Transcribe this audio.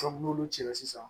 n'olu cɛla sisan